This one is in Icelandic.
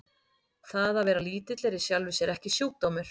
Það að vera lítill er í sjálfu sér ekki sjúkdómur.